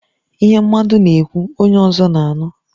Ihe mmadụ na-ekwu, onye ọzọ na-anụ